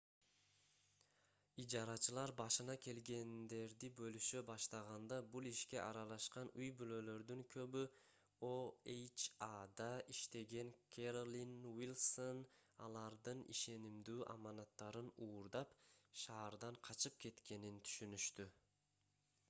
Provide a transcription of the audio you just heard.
ижарачылар башына келгендерди бөлүшө баштаганда бул ишке аралашкан үй-бүлөлөрдүн көбү oha’да иштеген кэролин уилсон алардын ишенимдүү аманаттарын уурдап шаардан качып кеткенин түшүнүштү